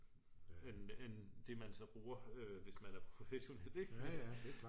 end det man så bruger hvis man er professionel